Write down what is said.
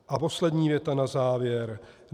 A poslední věta na závěr.